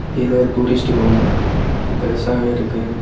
இது எதோ ஒரு டூரிஸ்ட் ஹோமு பெருசாவே இருக்கு.